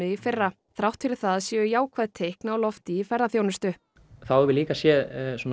í fyrra þrátt fyrir það séu jákvæð teikn á lofti í ferðaþjónustu þá höfum við séð